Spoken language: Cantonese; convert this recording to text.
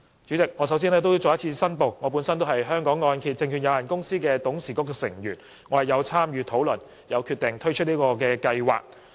主席，我首先要再次申報，我是香港按揭證券有限公司董事局成員，有份參與討論和決定推出這項計劃。